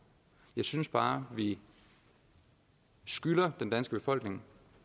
jeg synes bare at vi skylder den danske befolkning